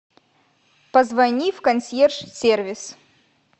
позвони в консьерж сервис